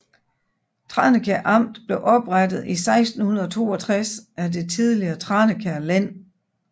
Tranekær Amt blev oprettet i 1662 af det tidligere Tranekær Len